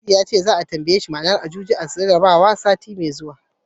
Nasidi ya ce, za'a tambaye shi ma'anar Ajuji a jarabawar Hausa, sati mai zuwa.